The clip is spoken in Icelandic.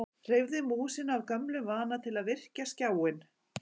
Hreyfði músina af gömlum vana til að virkja skjáinn.